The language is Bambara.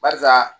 Barisa